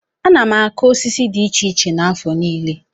Ana m akụ osisi dị iche iche n'afọ niile.